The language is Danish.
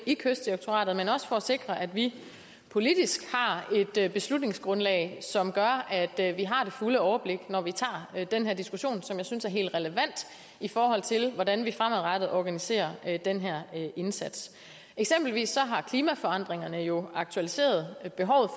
i kystdirektoratet men også for at sikre at vi politisk har et beslutningsgrundlag som gør at vi har det fulde overblik når vi tager den her diskussion som jeg synes er helt relevant i forhold til hvordan vi fremadrettet organiserer den her indsats eksempelvis har klimaforandringerne jo aktualiseret behovet